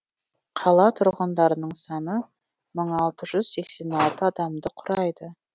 қала тұрғындарының саны мың алты жүз сексен алты адамды құрайды